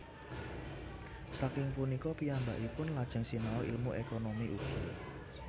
Saking punika piyambakipun lajeng sinau ilmu ékonomi ugi